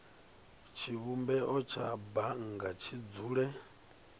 tshivhumbeo tsha bannga tshi dzule